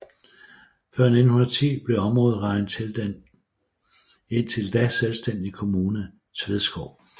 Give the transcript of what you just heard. Før 1910 blev området regnet til den indtil da selvstændige kommune Tvedskov